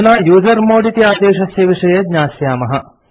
अधुना यूजर्मोड् इति आदेशस्य विषये ज्ञास्यामः